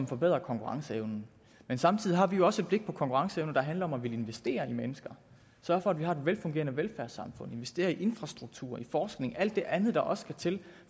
forbedrer konkurrenceevnen men samtidig har vi jo også et blik på konkurrenceevnen der handler om at ville investere i mennesker sørge for at vi har et velfungerende velfærdssamfund investere i infrastruktur i forskning alt det andet der også skal til